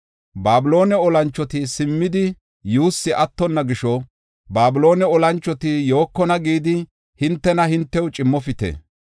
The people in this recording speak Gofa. “Babiloone olanchoti simmidi yuussay attonna gisho ‘Babiloone olanchoti yookona’ gidi hintena hintew cimmofite.